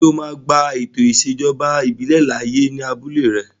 Ṣé o máa gba ètò ìṣèjọba ìbílẹ̀ láàyè ní abúlé rẹ?